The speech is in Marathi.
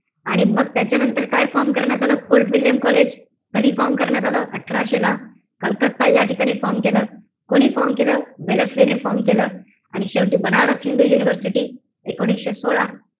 आणि मग त्याच्यानंतर काय form करण्यात आलं? Fort William college. कधी form करण्यात आलं? अठराशे ला. कलकत्ता या ठिकाणी form केलं. कोणी form केलं? वेल्लेसली ने form केलं. आणि शेवटी बनारस हिंदू सोसायटी, एकोणीशे सोळा.